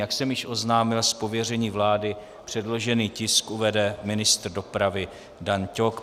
Jak jsem již oznámil, z pověření vlády předložený tisk uvede ministr dopravy Dan Ťok.